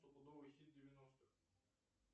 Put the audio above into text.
стопудовый хит девяностых